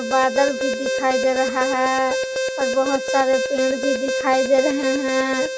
बादल भी दिखाई दे रहा है और बहुत सारे पेड़ भी दिखाई दे रहे हैं।